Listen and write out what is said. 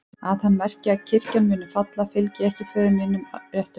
Að hann merki að kirkjan muni falla, fylgi ég ekki föður mínum að réttum málum.